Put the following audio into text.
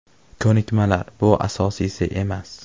Ko‘nikmalar bu asosiysi emas.